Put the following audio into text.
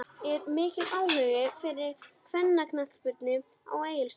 Er mikill áhugi fyrir kvennaknattspyrnu á Egilsstöðum?